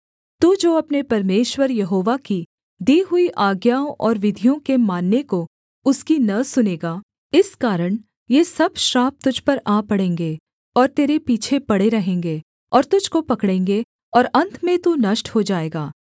तू जो अपने परमेश्वर यहोवा की दी हुई आज्ञाओं और विधियों के मानने को उसकी न सुनेगा इस कारण ये सब श्राप तुझ पर आ पड़ेंगे और तेरे पीछे पड़े रहेंगे और तुझको पकड़ेंगे और अन्त में तू नष्ट हो जाएगा